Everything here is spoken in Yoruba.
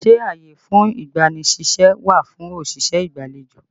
Ṣé ààyè fún ìgbani ṣíṣẹ́ wà fún òṣìṣẹ́ ìgbàlejò?